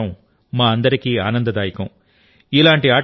ఇవన్నీ చూడటం మా అందరికీ ఆనందదాయకం